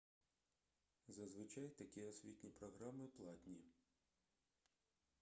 зазвичай такі освітні програми платні